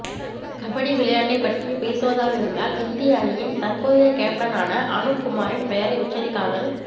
கபடி விளையாட்டை பற்றி பேசுவதாக இருந்தால் இந்திய அணியின் தற்போதைய கேப்டனான அனுப் குமாரின் பெயரை உச்சரிக்காமல்